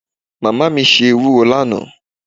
Mama mi se ewuro lana